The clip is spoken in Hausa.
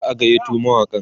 za'a gayyato mawaƙan